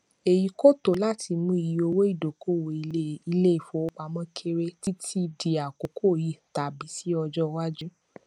èyí kò tó láti mú iye owó ìdókòwò ilé ilé ìfowópamọ kéré títí dì àkokò yìí tàbí sí ọjọ iwájú